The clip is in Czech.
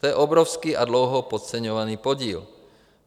To je obrovský a dlouho podceňovaný podíl.